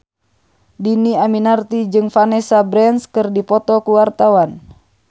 Dhini Aminarti jeung Vanessa Branch keur dipoto ku wartawan